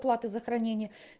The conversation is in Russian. плата за хранение